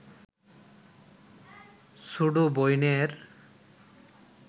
ছুডু বইনের